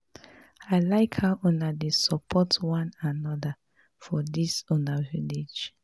I like how una dey support one another for dis una village